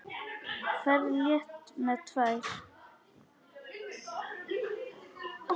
Ferð létt með tvær.